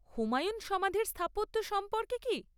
হুমায়ুন সমাধির স্থাপত্য সম্পর্কে কী?